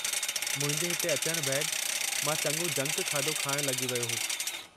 मुंहिंजे हिते अचण बैदि मां चङो जंक खाधो खाइणु लॻी वियो होसि।